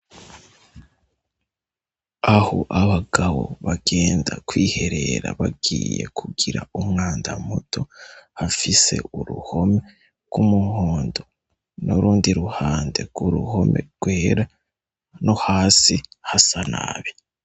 Aho abagabo bagenda kwiherera bagiye kugira umwanda muto hafise uruhome rw'umuhondo nurundi ruhande rw'uruhome rwera no hasi hasa nabi.